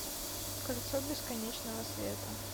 кольцо бесконечного света